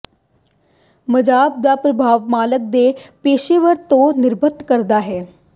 massage ਦਾ ਪ੍ਰਭਾਵ ਮਾਲਕ ਦੀ ਪੇਸ਼ੇਵਰ ਤੇ ਨਿਰਭਰ ਕਰਦਾ ਹੈ